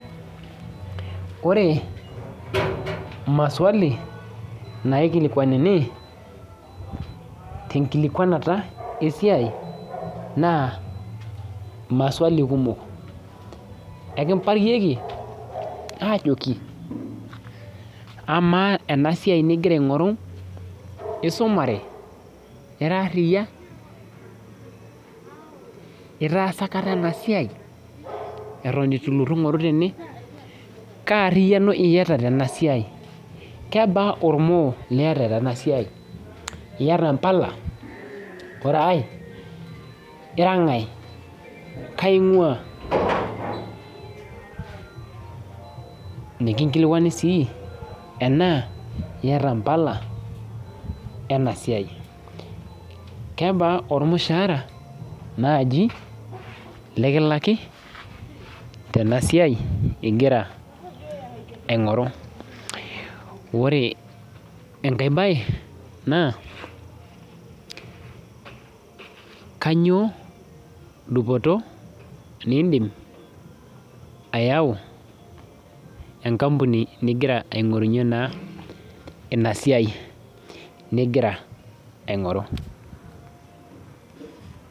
Ore maswali naikilikuanuni tenkikilukuanata esiai naa maswali kumok enkiparieki aajoki amaa ena siaai ningira aing'oru isumare ira aria itaasa aikata ena siai eton eitu ilotu aing'oru tene kaa ariano iyata tena siai iyata impala ore aae ira ng'ae kaaing'ua nikinkilikuani sii enaa iyata impala ena siai kebaa ormushaara naaji lekilaki tena siai ingira aing'oru ore enkae baye naa kanyioo dupoto nindiim ayau enkampuni nigira aing'oru